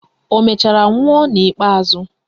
Ọ mechara nwụọ n'ikpeazụ?